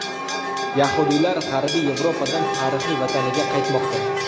Yahudiylar G‘arbiy Yevropadan tarixiy vataniga qaytmoqda.